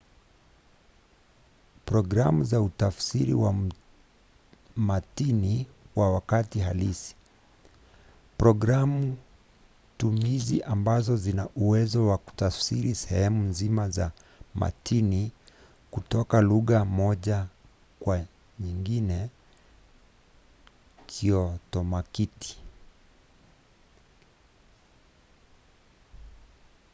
programu za utafsiri wa matini kwa wakati halisi – programu-tumizi ambazo zina uwezo wa kutafsiri sehemu nzima za matini kutoka lugha moja kwa nyingine kiotomatiki